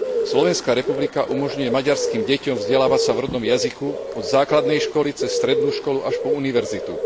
Slovenská republika umožňuje maďarským deťom vzdelávať sa v rodnom jazyku, a to od základnej školy cez strednú školu až po univerzitu.